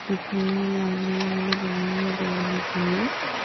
इसमें लाइनें लाइनें बनी हुई हैं दौड़ने के लिए--